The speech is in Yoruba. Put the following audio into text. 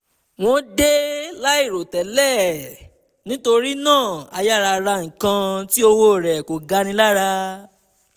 wọ́n dé láìròtẹ́lẹ̀ nítorí náà a yára ra nǹkan tí owó rẹ̀ kò gani lára